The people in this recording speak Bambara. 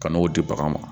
Ka n'o di baganw ma